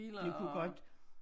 Det kunne godt